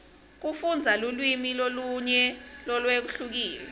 kufundza lulwimi lolunye lolwehlukile